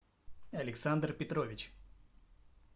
александр петрович